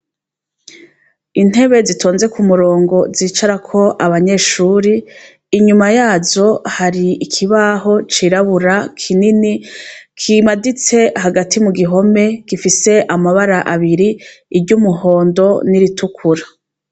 Intebe zitonze kumurongo zicarako abanyeshure inyuma yazo hari ikibaho cirabura kinini kimaditse hagati mugihome gifise amabara abiri iry' umuhondo n' iritukura.